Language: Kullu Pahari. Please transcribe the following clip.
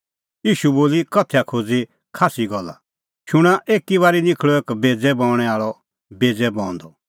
ईशू बोली उदाहरणा दी बडी भारी गल्ला शूणां एकी बारी निखल़अ एक बेज़ै बऊंणैं आल़अ बेज़ै बऊंदअ